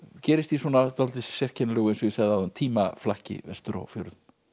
gerist í svona dálítið sérkennilegu eins og ég sagði áðan vestur á fjörðum